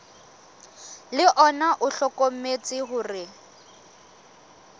le ona o hlokometse hore